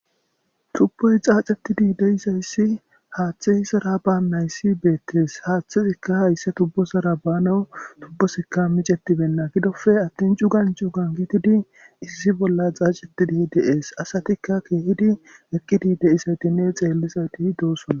Tubboyi xaxxetidi de'izayis haththeyi ezara banayissi bettes haththezika hayissa tubbozara banaw tubbozika micceterena giddoppe atin cugan cugan gididi issi bolla xaxxetidi de'es asatika kehidi eqqidi de'izaytinne xellizayti doosona.